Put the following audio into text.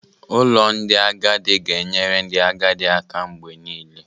Ụlọ ndị agadi ga-enyere ndị agadi aka mgbe niile.